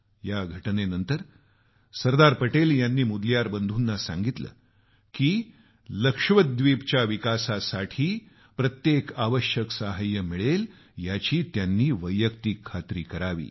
या घटनेनंतर सरदार पटेल यांनी मुदलियार बंधूना सांगितलं की लक्षद्वीपला विकासासाठी प्रत्येक आवश्यक सहाय्य मिळेल याची त्यांनी वैयक्तिक खात्री करावी